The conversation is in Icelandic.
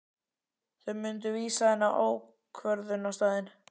Þau myndu vísa henni á ákvörðunarstaðinn.